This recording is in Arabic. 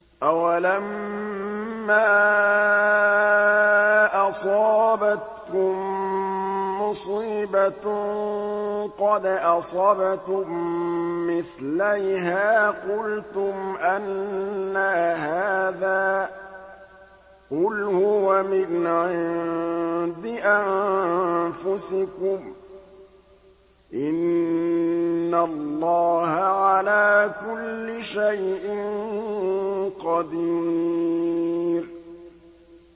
أَوَلَمَّا أَصَابَتْكُم مُّصِيبَةٌ قَدْ أَصَبْتُم مِّثْلَيْهَا قُلْتُمْ أَنَّىٰ هَٰذَا ۖ قُلْ هُوَ مِنْ عِندِ أَنفُسِكُمْ ۗ إِنَّ اللَّهَ عَلَىٰ كُلِّ شَيْءٍ قَدِيرٌ